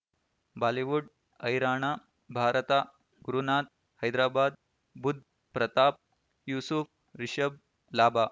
Bollywood ಹೈರಾಣ ಭಾರತ ಗುರುನಾಥ್ ಹೈದರಾಬಾದ್ ಬುಧ್ ಪ್ರತಾಪ್ ಯೂಸುಫ್ ರಿಷಬ್ ಲಾಭ